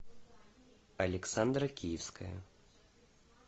александра киевская